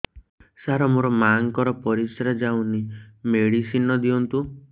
ସାର ମୋର ମାଆଙ୍କର ପରିସ୍ରା ଯାଉନି ମେଡିସିନ ଦିଅନ୍ତୁ